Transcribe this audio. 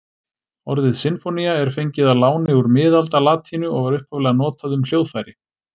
Orðið sinfónía er fengið að láni úr miðaldalatínu og var upphaflega notað um hljóðfæri.